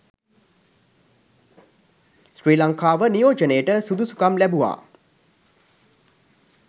ශ්‍රී ලංකාව නියෝජනයට සුදුසුකම් ලැබුවා